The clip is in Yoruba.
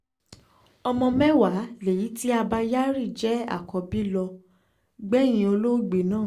ọmọ mẹ́wàá léyìí tí abba kyari jẹ́ àkọ́bí ló gbẹ̀yìn olóògbé náà